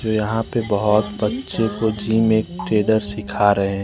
यहां पे बहोत बच्चे कोचिंग में ट्रेडर सिखा रहे--